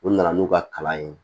U nana n'u ka kalan ye